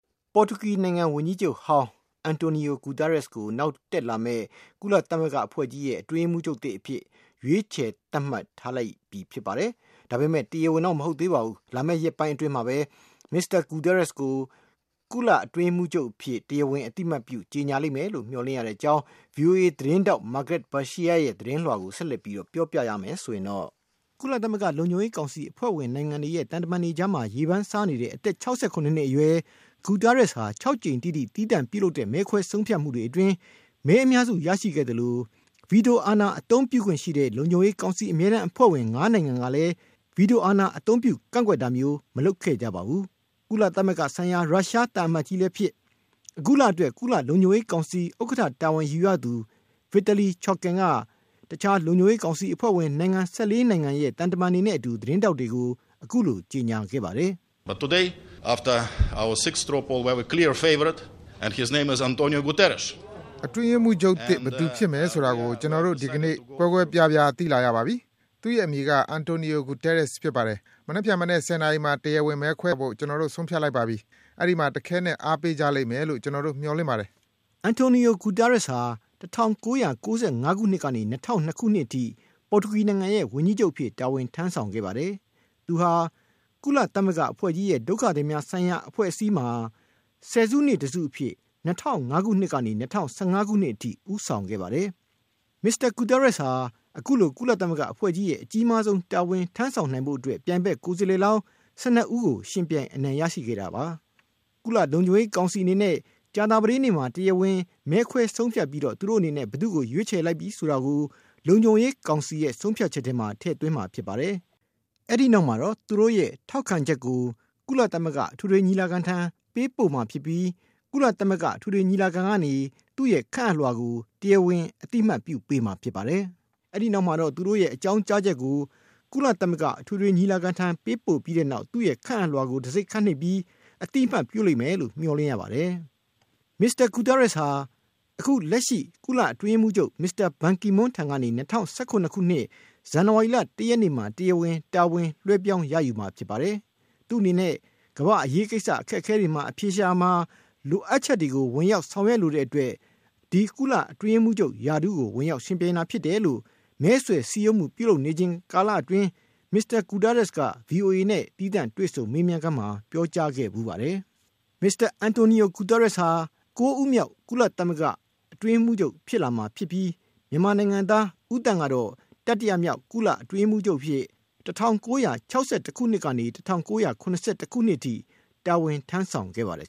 ပေါ်တူဂီနိုင်ငံ ဝန်ကြီးချုပ်ဟောင်း Antonio Guterres ကို နောက်တက်လာမယ့် ကုလသမဂ္ဂအဖွဲ့ကြီးရဲ့ အတွင်းရေးမှူးချုပ်သစ်အဖြစ် ရွေးချယ် သတ်မှတ်ခံထားရပြီ ဖြစ်ပါတယ်။ ဒါပေမဲ့ တရားဝင်တော့ မဟုတ်သေးပါဘူး။ လာမယ့်ရက်ပိုင်းအတွင်းမှာပဲ မစ္စတာ Guterres ကို ကုလအတွင်းရေးမှူးချုပ်အဖြစ် တရားဝင် အသိအမှတ်ပြု ကြေညာလိမ့်မယ်လို့ မျှော်လင့်ရတဲ့အကြောင်း ဗွီအိုအေသတင်းထောက် Margaret Besheer ရဲ့ သတင်းလွှာကို ဦးစံမိုေ၀ က တင်ပြထားပါတယ်။ ကုလသမဂ္ဂ လုံခြုံရေးကောင်စီ အဖွဲ့ဝင်နိုင်ငံတွေရဲ့ သံတမန်တွေကြား ရေပန်းစားနေတဲ့ အသက် ၆၇ နှစ်အရွယ် Guterres ဟာ ၆ ကြိမ်တိတိ သီးသန့်ပြုလုပ်တဲ့ မဲခွဲဆုံးဖြတ်မှုတွေအတွင်း မဲအများစု ရရှိခဲ့သလို ဗီတိုအာဏာ အသုံးပြုခွင့်ရှိတဲ့ လုံခြုံရေးကောင်စီ အမြဲတမ်းအဖွဲ့ဝင် နိုင်ငံ ၅ နိုင်ငံကလည်း ဗီတိုအာဏာ အသုံးပြု ကန့်ကွက်တာမျိုး မလုပ်ခဲ့ကြပါဘူး။ ကုလသမဂ္ဂဆိုင်ရာ ရုရှားနိုင်ငံ သံအမတ်ကြီးလည်းဖြစ် အခုလအတွက် ကုလလုံခြုံရေးကောင်စီ ဥက္ကဌတာဝန်ယူရသူ Vitaly Churkin က တခြား ကုလလုံခြုံရေးကောင်စီအဖွဲ့ဝင်နိုင်ငံ ၁၄ နိုင်ငံရဲ့ သံတမန်တွေနဲ့အတူ သတင်းထောက်တွေကို အခုလို ကြေညာခဲ့ပါတယ်။ “အတွင်းရေးမှူးချုပ်အသစ် ဘယ်သူဖြစ်မယ်ဆိုတာ ဒီကနေ့ သဲသဲကွဲကွဲ ထွက်ပေါ်လာပါပြီ၊ သူ့ရဲ့ အမည်က Antonio Guterres ဖြစ်ပါတယ်။ မနက်ဖြန်မနက် ၁၀ နာရီမှာ တရားဝင် မဲခွဲဖို့ ကျနော်တို့ ဆုံးဖြတ်လိုက်ပါပြီ။ အဲဒီမှာ တခဲနက် အားပေးကြလိမ့်မယ်လို့ ကျနော်တို့ မျှော်လင့်ပါတယ်။” Guterres ဟာ ၁၉၉၅ ခုနှစ်ကနေ ၂၀၀၂ ခုနှစ်အထိ ပေါ်တူဂီနိုင်ငံရဲ့ ဝန်ကြီးချုပ်အဖြစ် တာဝန်ထမ်းဆောင်ခဲ့ပါတယ်။ သူဟာ ကုသမဂ္ဂအဖွဲ့ကြီးရဲ့ ဒုက္ခသည်များဆိုင်ရာ အဖွဲ့အစည်းမှာ ဆယ်စုနှစ်တစုအဖြစ် ၂၀၀၅ ခုနှစ်ကနေ ၂၀၁၅ ခုနှစ် အထိ ဦးဆောင်ခဲ့ပါတယ်။ မစ္စတာ Guterres ဟာ အခုလို ကုလသမဂ္ဂအဖွဲ့ကြီးရဲ့ အကြီးမားဆုံးတာဝန် ထမ်းဆောင်နိုင်ဖို့အတွက် ပြိုင်ဘက် ကိုယ်စားလှယ်လောင်း ၁၂ ဦးကို ယှဉ်ပြိုင် အနိုင်ရရှိခဲ့တာပါ။ ကုလလုံခြုံရေးကောင်စီအနေနဲ့ ကြာသာပတေးနေ့မှာ တရားဝင် မဲခွဲဆုံးဖြတ်ပြီး သူတို့အနေနဲ့ ဘယ်သူ့ကို ရွေးချယ်လိုက်ပြီဆိုတာကို လုံခြုံရေးကောင်စီရဲ့ ဆုံးဖြတ်ချက်ထဲမှာ ထည့်သွင်းမှာ ဖြစ်ပါတယ်။ အဲဒီနောက်မှာတော့ သူတို့ရဲ့ ထောက်ခံချက်ကို ကုလသမဂ္ဂ အထွေထွေညီလာခံထံ ပေးပို့မှာဖြစ်ပြီး၊ အထွေထွေညီလာခံကနေ သူ့ရဲ့ခန့်အပ်လွှာကို အသိအမှတ်ပြုပေးမှာ ဖြစ်ပါတယ်။ မစ္စတာ Guterres ဟာ လက်ရှိ ကုလအတွင်းရေးမှူးချုပ် ဘန်ကီမွန်းထံကနေ ၂၀၁၇ ခုနှစ် ဇန်နဝါရီလ ၁ ရက်နေ့မှာ တရားဝင် တာဝန်လွှဲပြောင်းရယူမှာ ဖြစ်ပါတယ်။ သူ့အနေနဲ့ ကမ္ဘာ့အရေးကိစ္စ အခက်အခဲတွေ အဖြေရှာရာမှာ လိုအပ်ချက်တွေကို ဝင်ရောက် ဆောင်ရွက်လိုတဲ့အတွက် ဒီကုလအတွင်းရေးမှူးချုပ် ရာထူးဝင်ရောက် ယှဉ်ပြိုင်တာဖြစ်တယ်လို့ မဲဆွယ်စည်းရုံးမှု ပြုလုပ်နေချိန်ကာလအတွင်း မစ္စတာ Guterres က ဗွီအိုအေနဲ့ တွေ့ဆုံမေးမြန်းခန်းမှာ ပြောကြားခဲ့ဖူးပါတယ်။ မစ္စတာ Guterres ဟာ ၉ ဦးမြောက် ကုလသမဂ္ဂ အတွင်းရေးမှူးချုပ် ဖြစ်လာမှာဖြစ်ပြီး၊ မြန်မာနိုင်ငံသား ဦးသန့် ကတော့ တတိယမြောက် ကုလအတွင်းရေးမှူးချုပ်အဖြစ် ၁၉၆၁ ခုနှစ်ကနေ ၁၉၇၁ အထိ တာဝန်ထမ်းဆောင်ခဲ့ပါတယ်